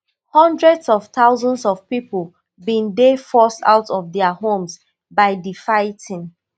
hundreds of thousands of pipo bin dey forced out of dia homes by di fightng